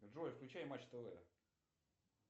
джой включай матч тв